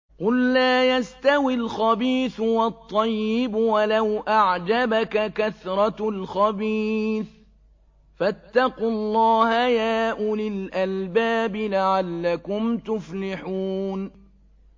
قُل لَّا يَسْتَوِي الْخَبِيثُ وَالطَّيِّبُ وَلَوْ أَعْجَبَكَ كَثْرَةُ الْخَبِيثِ ۚ فَاتَّقُوا اللَّهَ يَا أُولِي الْأَلْبَابِ لَعَلَّكُمْ تُفْلِحُونَ